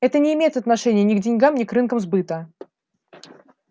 это не имеет отношения ни к деньгам ни к рынкам сбыта